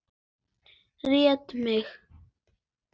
Réttu megin?